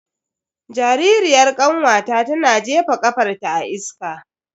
Jaririyar kanwata tana jefa kafarta a iska.